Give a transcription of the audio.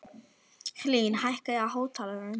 Hlín, hækkaðu í hátalaranum.